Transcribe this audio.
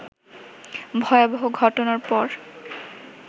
ভয়াবহ ঘটনার পর